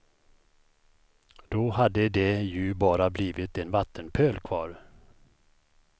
Då hade det ju bara blivit en vattenpöl kvar.